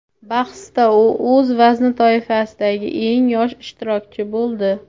bahsda u o‘z vazn toifasidagi eng yosh ishtirokchi bo‘ldi.